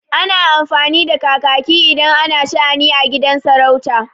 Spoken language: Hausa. Ana amfani da kakaki idan ana sha'ani a gidan sarauta.